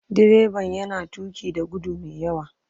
Direban yana tuki da gudu mai yawa.